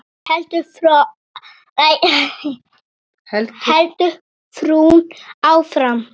heldur frúin áfram.